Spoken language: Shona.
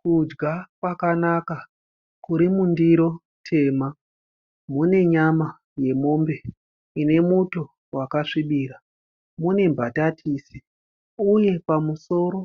Kudya kwakanaka kurimundiro tema. Mune nyama yemombe inemuto wakasvibira. Mune mbatatisi uye pamuromo